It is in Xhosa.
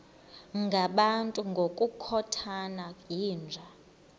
ngabantu ngokukhothana yinja